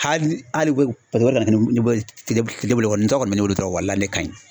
Hali tura kɔni walayi ne ka ɲi